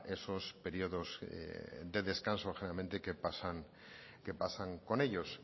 esos periodos de descanso generalmente que pasan con ellos